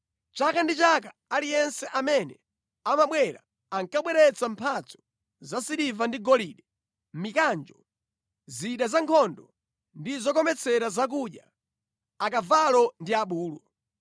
Chaka ndi chaka aliyense amene amabwera ankabweretsa mphatso za siliva ndi golide, mikanjo, zida zankhondo ndi zokometsera zakudya, akavalo ndi abulu.